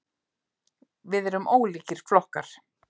Við erum ólíkir flokkar.